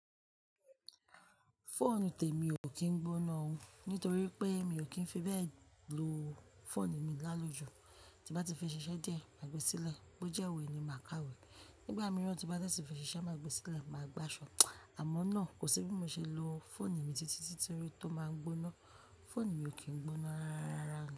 Phone tèmi ò kín gbóná ó, nítorí pé mi ò kín fi bẹ lo phone mi láloju. Tí bá ti fi ṣiṣẹ́ de má gbe sílẹ̀, bó jẹ́ òwe ni mà ká wè. Nígbà mìíràn tí bá tẹ́tí fi ṣiṣẹ́ má gbe sílẹ̀, mà gba aṣọ. Àmọ́ náà kò sí bí mo ṣe lo phone mi títí títi rí tó máa gbóná. Phone mi ò kín gbóná rárá.